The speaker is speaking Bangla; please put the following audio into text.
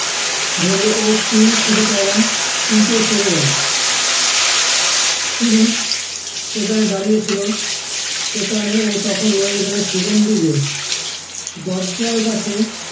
ধরে ওর চুল ছুঁতে চাইলাম কিন্তু ও সরে গেলো শুধু সেখানে দাঁড়িয়ে ছিল সেখানে ও তখন রয়ে গেলো সুগন্ধির রেস দরজার কাছে